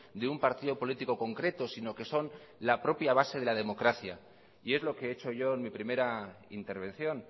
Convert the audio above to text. de un partido político concreto sino que son la propia base de la democracia y es lo que he hecho yo en mi primera intervención